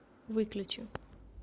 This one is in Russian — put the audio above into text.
выключи